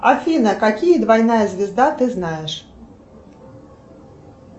афина какие двойная звезда ты знаешь